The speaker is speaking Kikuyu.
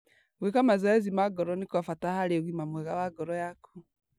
Gwĩka mazoezi ma ngoro nĩ kwa bata harĩ ũgima mwega wa ngoro yaku.